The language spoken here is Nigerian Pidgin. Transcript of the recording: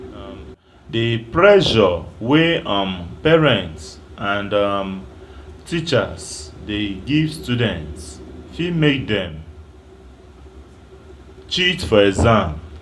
The pressure wey um parents and um teachers dey give student fit make dem cheat for exam